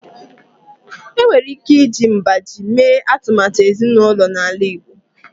Enwere ike iji mgbájí mee atụmatụ ezinụlọ n'ala Igbo